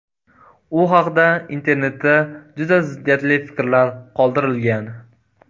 U haqda internetda juda ziddiyatli fikrlar qoldirilgan .